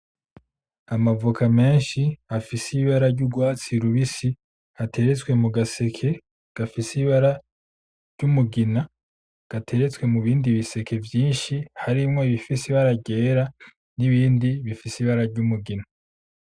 Amavoka menshi afise ibara ry'urwatsi rubisi ateretswe mu gaseke gafise ibara ryumugina gateretswe mu bindi biseke vyinshi harimwo ibifise ibara ryera n'ibindi bifise ibara ryumugina.